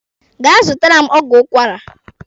Gaa zụtara m ọgwụ ụkwara!